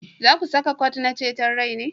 Za ku saka kwot na ceton rai ne?